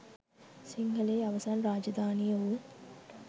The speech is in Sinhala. සිංහලයේ අවසන් රාජධානිය වූ